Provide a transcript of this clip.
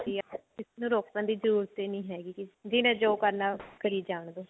ਵੀ ਕਿਸੇ ਨੂੰ ਰੋਕਣ ਦੀ ਜਰੂਰਤ ਹੀ ਨਹੀਂ ਹੈਗੀ ਜਿਹਨੇ ਜੋ ਕਰਨਾ ਕਰੀ ਜਾਣਦੋ